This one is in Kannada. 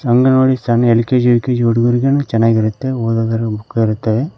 ಅಂಗನವಾಡಿ ಶಾನೆ ಎಲ್_ಕೆ_ಜಿ ಯು_ಕೆ_ಜಿ ಹುಡುಗರಿಗೆ ಚೆನ್ನಾಗಿರುತ್ತೆ ಓದೋದ್ದೆಲ್ಲ ಬುಕ್ ಇರುತ್ತವೆ.